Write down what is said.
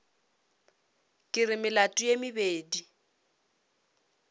ke re melato ye mebedi